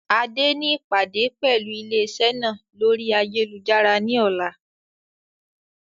Adé ni ìpàdé pẹlu ilé iṣẹ́ náà lórí ayélujára ni ọ̀la.